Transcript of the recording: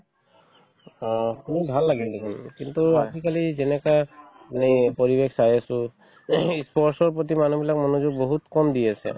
অ, শুনি ভাল লাগিল দেখুন কিন্তু আজিকালি যেনেকুৱা মানে পৰিৱেশ পাই আছো ing ই sports ৰ প্ৰতি মানুহবিলাক মনযোগ বহুত কম দি আছে